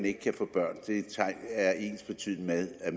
ikke kan få børn er ensbetydende med at